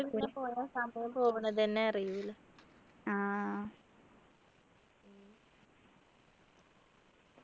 സമയത്തെ പോകുന്നതെന്നെ അറീല